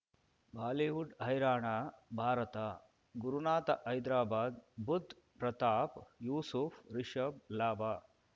Bollywood ಹೈರಾಣ ಭಾರತ ಗುರುನಾಥ ಹೈದ್ರಾಬಾದ್ ಬುಧ್ ಪ್ರತಾಪ್ ಯೂಸುಫ್ ರಿಷಬ್ ಲಾಭ